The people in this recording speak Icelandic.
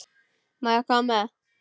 Má ég koma með?